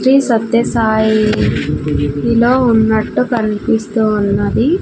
శ్రీ సత్య సాయి లో ఉన్నట్టు కనిపిస్తూ ఉన్నాది.